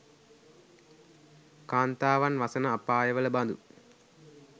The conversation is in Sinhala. කාන්තාවන් වසන අපායවල බඳු